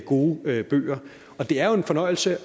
gode bøger det er jo en fornøjelse